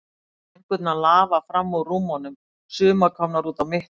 Sængurnar lafa fram úr rúmunum, sumar komnar út á mitt gólf.